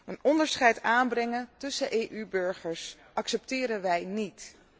Een onderscheid aanbrengen tussen EU burgers accepteren wij niet.